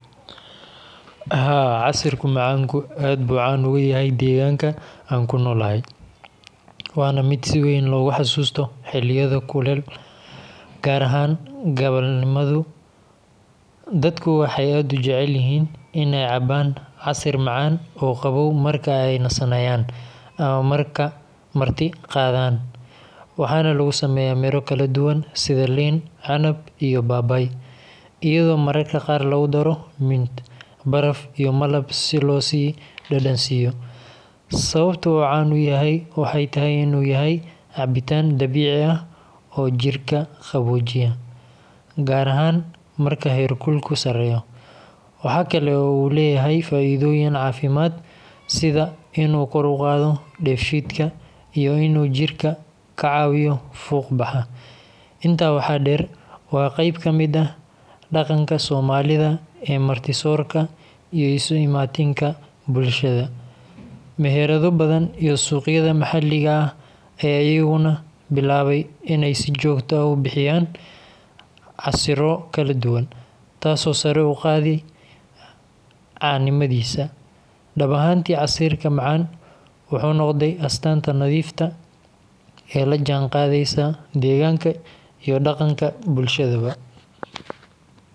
Haa, casirka macaanku aad buu caan uga yahay deegaanka aan ku noolahay, waana mid si weyn loogu xasuusto xilliyada kulul, gaar ahaan galabnimada. Dadku waxay aad u jecel yihiin in ay cabbaan casir macaan oo qabow marka ay nasanayaan ama marti qaadaan. Waxaana lagu sameeyaa miro kala duwan sida liin, canab, iyo babaay, iyadoo mararka qaar lagu daro mint, baraf iyo malab si loo sii dhadhansiiyo. Sababta uu caan u yahay waxay tahay in uu yahay cabitaan dabiici ah oo jidhka qaboojiya, gaar ahaan marka heerkulku sareeyo. Waxa kale oo uu leeyahay faa’iidooyin caafimaad sida in uu kor u qaado dheefshiidka iyo in uu jidhka ka caawiyo fuuq baxa. Intaa waxaa dheer, waa qayb ka mid ah dhaqanka soomaalida ee marti soorka iyo isu imaatinka bulshada. Meherado badan iyo suuqyada maxalliga ah ayaa iyaguna bilaabay in ay si joogto ah u bixiyaan casirro kala duwan, taasoo sare u qaaday caanimadiisa. Dhab ahaantii, casirka macaan wuxuu noqday astaanta nadiifta ee la jaanqaadaysa deegaanka iyo dhaqanka bulshada.